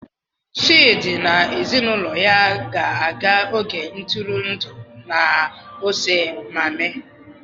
Chidi na ezinaụlọ ga-aga oge ntụrụndụ na Ose Miami.